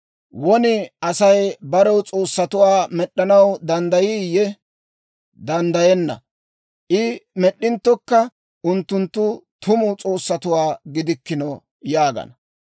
Won Asay barew s'oossatuwaa med'd'anaw danddayiiyye? Danddayenna! I med'd'inttokka unttunttu tumu s'oossatuwaa gidikkino!» yaagana.